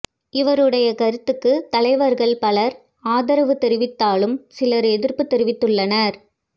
இவருடைய கருத்துக்கு தலைவர்கள் பலர் ஆதரவு தெரிவித்தாலும் சிலர் எதிர்ப்பு தெரிவித்துள்ளனர்